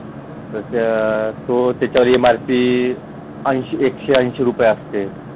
तर त्या तो त्याच्यावर एमारपी ऐंशी एकशे ऐंशी रुपये असते.